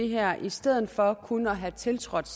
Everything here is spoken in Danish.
her i stedet for kun at have tiltrådt